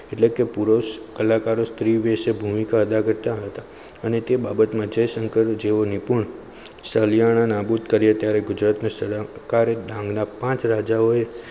એટલે કે પુરુષ કલાકારો સ્ત્રીવેશ ભૂમિકા અદા કરતા હતા અને તે બાબત જ્ય શંકર જેવું નતુ સલિયાના નાબૂદ કર્યા ત્યારે ગુજરાતના કાર્યક્રમના પાચ રાજાઓએ,